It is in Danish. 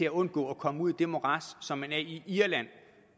at undgå at komme ud i det morads som de er i i irland